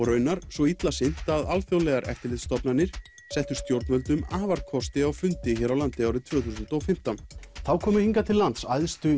raunar svo illa sinnt að alþjóðlegar eftirlitsstofnanir settu stjórnvöldum afarkosti á fundi hér á landi árið tvö þúsund og fimmtán þá komu hingað til lands æðstu